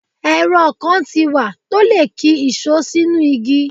Èrọ kan ti wá tó lè ki ìṣó sínú igi.